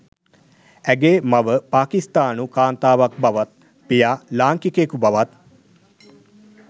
ඇගේ මව පාකිස්තානු කාන්තාවක් බවත් පියා ලාංකිකයකු බවත්